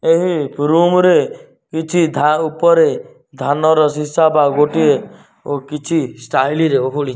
ଏହି ରୁମ ରେ କିଛି ଧା ଉପରେ ଧାନର ସୀସା ବା ଗୋଟିଏ କିଛି ଷ୍ଟାଇଲ ରେ ଓହଳିଛି।